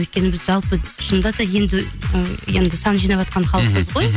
өйткені біз жалпы шынында да ы енді сан жинаватқан халықпыз ғой мхм